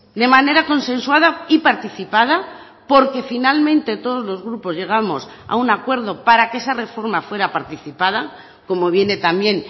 de manera consensuada y participada porque finalmente todos los grupos llegamos a un acuerdo para que esa reforma fuera participada como viene también